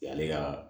Yan ale ka